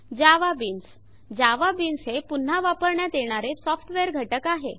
JavaBeans JavaBeans हे पुन्हा वापरण्यात येणारे सॉफ्टवेअर घटक आहे